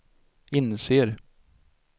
inser